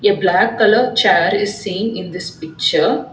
a black colour chair is seen in this picture.